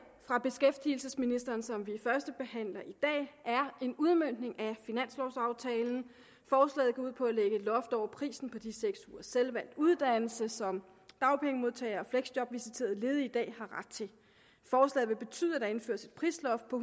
fra beskæftigelsesministeren som vi førstebehandler i dag er en udmøntning af finanslovaftalen forslaget går ud på at lægge et loft over prisen på de seks ugers selvvalgt uddannelse som dagpengemodtagere og fleksjobvisiterede ledige i dag har ret til forslaget vil betyde at der indføres et prisloft på